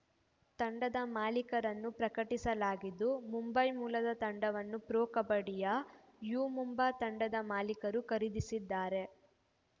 ತಂಡದ ಮಾಲೀಕರನ್ನು ಪ್ರಕಟಿಸಲಾಗಿದ್ದು ಮುಂಬೈ ಮೂಲದ ತಂಡವನ್ನು ಪ್ರೊ ಕಬಡ್ಡಿಯ ಯು ಮುಂಬಾ ತಂಡದ ಮಾಲೀಕರು ಖರೀದಿಸಿದ್ದಾರೆ